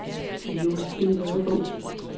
Josephine Ladegaard